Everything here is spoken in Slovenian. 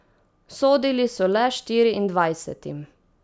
Sodili so le štiriindvajsetim.